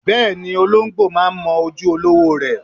Bẹ́ẹ̀ni, olóǹgbò máa ń mọ ojú olówó rẹ̀.